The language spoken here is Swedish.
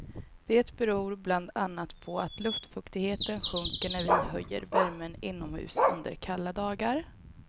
Det beror bland annat på att luftfuktigheten sjunker när vi höjer värmen inomhus under kalla dagar.